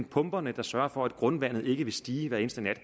pumperne der sørger for at grundvandet ikke vil stige hver eneste nat